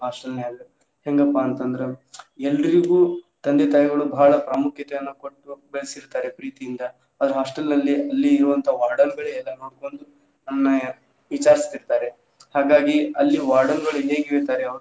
Hostel ನ್ಯಾಗ ಹೆಂಗಪ್ಪಾ ಅಂತ ಅಂದ್ರ ಎಲ್ರಿಗೂ ತಂದೆ ತಾಯಿಗಳು ಬಾಳ ಪ್ರಾಮುಕ್ಯತೆಯನ್ನ ಕೊಟ್ಟು ಬೆಳಸಿರ್ತಾರ ಪ್ರೀತಿಯಿಂದ ಆದ್ರ hostel ನಲ್ಲಿ ಅಲ್ಲಿ ಇರುವಂಥ warden ಗಳೇ ಎಲ್ಲಾ ನೋಡಕೊಂಡು ನಮನ ವಿಚಾರಸ್ತಿರ್ತಾರ ಹಾಗಾಗಿ ಅಲ್ಲಿ warden ಗಳ್ .